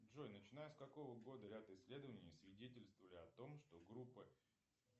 джой начиная с какого года ряд исследований свидетельствовали о том что группа